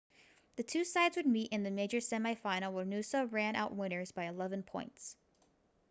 the two sides would meet in the major semi final where noosa ran out winners by 11 points